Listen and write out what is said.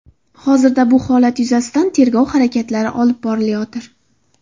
Hozirda bu holat yuzasidan tergov harakatlari olib borilayotir.